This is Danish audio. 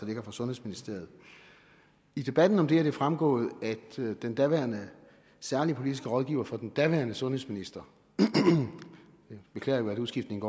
ligger fra sundhedsministeriet i debatten om det er det fremgået at den daværende særlige politiske rådgiver for den daværende sundhedsminister jeg beklager at udskiftningen